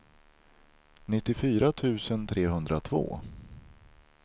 nittiofyra tusen trehundratvå